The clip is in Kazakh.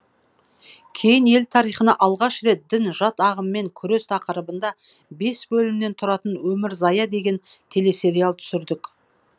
кейін ел тарихында алғаш рет дін жат ағыммен күрес тақырыбында бес бөлімнен тұратын өмірзая деген телесериал түсірдік